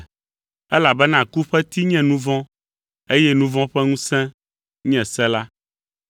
Elabena ku ƒe ti nye nu vɔ̃, eye nu vɔ̃ ƒe ŋusẽ nye se la.